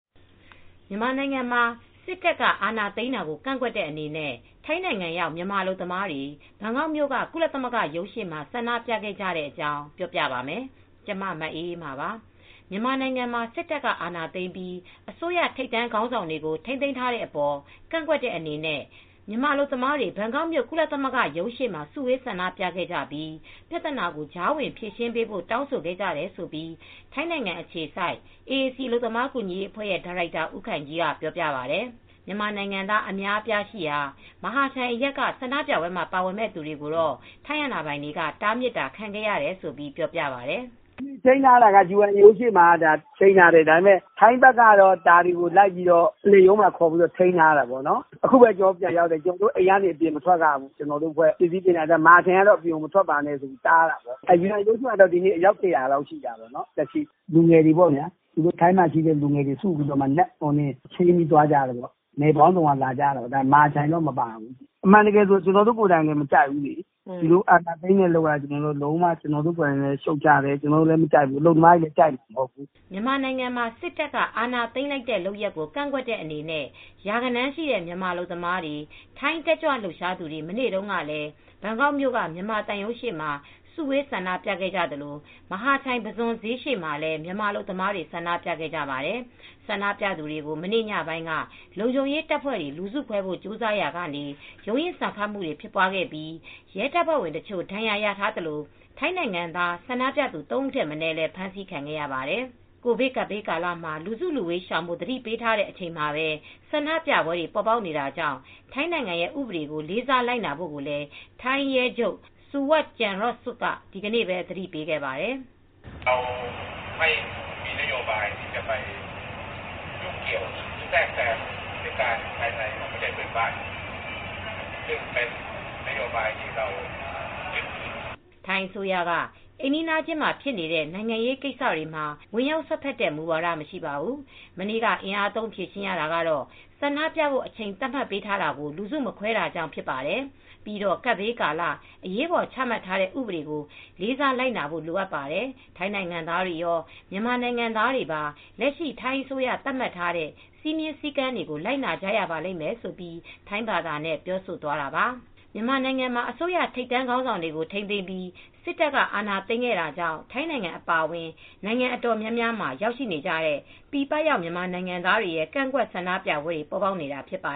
မြန်မာနိုင်ငံမှာ စစ်တပ်က အာဏာသိမ်းတာကို ကန့်ကွက်တဲ့ အနေနဲ့ ထိုင်းနိုင်ငံရောက် မြန်မာအလုပ်သမားတွေ ဘန်ကောက်မြို့က ကုလသမဂ္ဂရုံးရှေ့မှာ ဆန္ဒပြခဲ့ကြတဲ့အကြောင်း ပြောပြပါမယ်။ ဗွီအိုအေမြန်မာပိုင်း သတင်းထောက် မအေးအေးမာက သတင်းပေးပို့ထားပါတယ်။ မြန်မာနိုင်ငံမှာ စစ်တပ်က အာဏာသိမ်းပြီး အစိုးရ ထိပ်တန်းခေါင်းဆောင်တွေကို ထိန်းသိမ်းထားတဲ့အပေါ် ကန့်ကွက်တဲ့ အနေနဲ့ မြန်မာအလုပ်သမားတွေ ဘန်ကောက်မြို့ ကုလသမဂ္ဂရုံးရှေ့မှာ စုဝေးဆန္ဒပြခဲ့ကြပြီး ပြဿနာကို ကြားဝင်ဖြေရှင်းပေးဖို့ တောင်းဆိုခဲ့ကြတယ်လို့ ထိုင်းနိုင်ငံ အခြေစိုက် AAC အလုပ်သမားကူညီရေးအဖွဲ့ ဒါရိုက်တာဦးခိုင်ကြီးက ပြောပါတယ်။ မြန်မာနိုင်ငံသား အများအပြားရှိရာ မဟာချိုင်အရပ်က ဆန္ဒပြပွဲမှာ ပါဝင်မယ့် သူတွေကိုတော့ ထိုင်းအာဏာပိုင်တွေက တားမြစ်တာခံခဲ့ရတယ်လို့လည်း ပြောပါတယ်။ “ချိန်းထားတာက UNHCR ရုံးရှေ့မှာ ချိန်းထားတာ ထိုင်းဘက်ကတော့ ကျနော်တို့ကို ပုလိပ်ရုံးမှာ ထိန်းသိမ်းထားတယ်။ အခုပဲ ကျနော်တို့ ပြန်ရောက်တယ်။ ကျနော်တို့အိမ်ကနေ မထွက်ရဘူး။ ကျနော်တို့အဖွဲ့ကို မဟာချိုင်ကနေ အပြင်မထွက်ပါနဲ့လို့ တားထားတယ်။ UNHCR ယူအန်ရုံးရှေ့မှာတော့ အယောက် ၁၀၀ လောက်ရှိတယ်။ ထိုင်းမှာ ရှိတဲ့လူငယ်တွေ ချိန်းပြီးသွားကြတယ်။ မြို့နယ်အသီးသီးကပေါ့။ မဟာချိုင်က လူတွေတော့ မပါဘူး။ ဒီလိုအာဏာသိမ်းတဲ့လုပ်ရပ်က ကျနော်တို့ကိုယ်တိုင်လည်း မကြိုက်ဘူး။ မြန်မာအလုပ်သမားတွေလည်း ကြိုက်ကြမှာမဟုတ်ဘူး။” မြန်မာနိုင်ငံမှာ စစ်တပ်က အာဏာသိမ်းလိုက်တဲ့လုပ်ရပ်ကို ကန့်ကွက်တဲ့ အနေနဲ့ ရာဂဏန်းရှိတဲ့ မြန်မာအလုပ်သမားတွေ၊ ထိုင်းတက်ကြွလှုပ်ရှားသူတွေ မနေ့တုန်းကလည်း ဘန်ကောက်မြို့က မြန်မာသံရုံးရှေ့မှာ စုဝေးဆန္ဒပြခဲ့ကြသလို၊ မဟာချိုင် ပုဇွန်ဈေးရှေ့မှာလည်း မြန်မာအလုပ်သမားတွေ ဆန္ဒပြခဲ့ကြပါတယ်။ ဆန္ဒပြသူတွေကို မနေ့ညပိုင်းက လုံခြုံရေးတပ်ဖွဲ့တွေ လူစုခွဲဖို့ ကြိုးစားရာက ရုန်းရင်းဆန်ခတ်ဖြစ်ပွားပြီး ရဲတပ်ဖွဲ့ဝင် တချို့ ဒဏ်ရာရခဲ့သလို ထိုင်းနိုင်ငံသား ဆန္ဒပြသူ ၃ ဦးထက် မနည်းလည်း ဖမ်းဆီးခံခဲ့ရပါတယ်။ ကိုဗစ်ကပ်ရောဂါကာလမှာ လူစုလူဝေးရှောင်ဖို့ သတိပေးထားတဲ့ အချိန်မှာပဲ ဆန္ဒပြပွဲတွေ ပေါ်ပေါက်နေတာကြောင့် ထိုင်းနိုင်ငံရဲ့ ဥပဒေတွေကို လေးစားလိုက်နာဖို့လည်း ထိုင်းရဲချုပ် Maj. Gen. Suwat Changyodsuk က ဒီကနေ့ပဲ သတိပေးခဲ့ပါတယ်။ "ထိုင်းအစိုးရက အိမ်နီးချင်းနိုင်ငံမှာဖြစ်နေတဲ့ နိုင်ငံရေးကိစ္စတွေမှာ ဝင်ရောက်စွက်ဖက်တဲ့မူဝါဒ မရှိပါဘူး။ မနေ့က အင်အားသုံးဖြေရှင်းရတာက ဆန္ဒပြဖို့ အချိန်သတ်မှတ်ပေးထားတာကို လူစုမခွဲတာကြောင့် ဖြစ်တယ်။ ပြီးတော့ ကပ်ဘေးကာလအရေးပေါ် ချမှတ်ထားတဲ့ ဥပဒေကို လေးစားလိုက်နာဖို့ လိုတယ်။ ထိုင်းနိုင်ငံသားတွေရော၊ မြန်မာနိုင်ငံသားတွေပါ လက်ရှိထိုင်းအစိုးရသတ်မှတ်ထားတဲ့ စည်းမျဉ်းစည်းကမ်းတွေကို လိုက်နာကြရလိမ့်မယ်။" ဆိုပြီး ထိုင်းဘာသာနဲ့ ပြောဆိုသွားတာပါ။ မြန်မာနိုင်ငံမှာ အစိုးရထိပ်တန်း ခေါင်းဆောင်တွေကို ထိန်းသိမ်းပြီး စစ်တပ်က အာဏာသိမ်းခဲ့တာကြောင့် ထိုင်းနိုင်ငံ အပါအဝင် နိုင်ငံတော်တော်များများမှာ ရောက်နေကြတဲ့ ပြည်ပရောက် မြန်မာနိုင်ငံသားတွေရဲ့ ကန့်ကွက်ဆန္ဒပြပွဲတွေ ပေါ်ပေါက်နေတာ ဖြစ်ပါ